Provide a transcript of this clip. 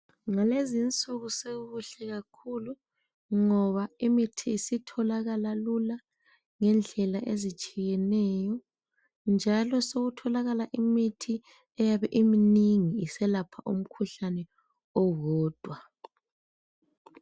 Ngalezinsuku sekukuhle kakhulu ngoba imithi isitholakala lula ngendlela ezitshiyeneyo njalo sokutholakala imithi eyabe iminingi iselapha umkhuhlane owodwa.